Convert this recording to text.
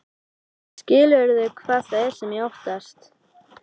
Skilurðu hvað það er sem ég óttast?